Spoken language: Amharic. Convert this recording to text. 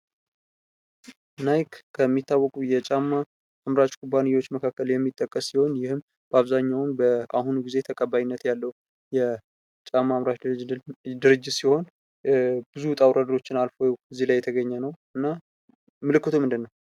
ናይክ ከሚታወቁ የጫማ አምራች ኩባንያወች መካከል የሚጠቀስ ሲሆን ይህም አብዛኛውን በአሁኑ ጊዜ ተቀባይነት ያለው የጫማ አምራች ድርጅት ሲሆን ብዙ ዉጥውረዶችን አልፎ እዚህ ላይ የተገኘ ነው እና ምልክቱ ምንድን ነው?